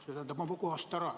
See tähendab, nagu kohalt ära?